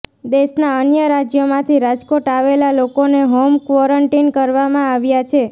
દેશના અન્ય રાજ્યોમાંથી રાજકોટ આવેલા લોકોને હોમ ક્વોરન્ટિન કરવામાં આવ્યા છે